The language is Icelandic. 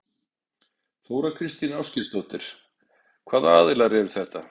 Þóra Kristín Ásgeirsdóttir: Hvaða aðilar eru þetta?